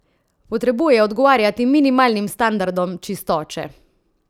Potrebuje odgovarjati minimalnim standardom čistoče!